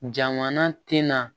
Jamana tɛ na